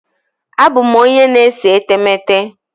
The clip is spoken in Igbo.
Abụ m onye na-ese etemeete.